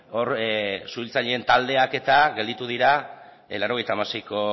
hor suhiltzaileen taldeak eta gelditu dira laurogeita hamaseiko